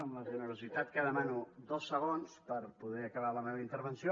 amb la generositat que demano dos segons per poder acabar la meva intervenció